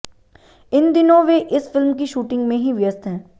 इन दिनों वे इस फिल्म की शूटिंग में ही व्यस्त हैं